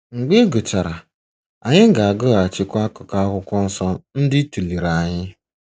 Mgbe ị gachara, anyị ga-agụghachikwa akụkụ Akwụkwọ Nsọ ndị ị tụlere anyị.